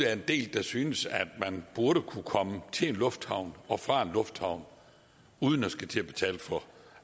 er en del der synes at man burde kunne komme til en lufthavn og fra en lufthavn uden at skulle til at betale for